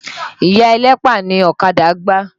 Ìya ẹlẹ́pà ni ọ̀kadà gbá.